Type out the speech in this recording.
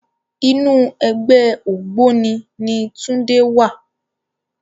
Inú ègbè ôgbóni ni Tunde wá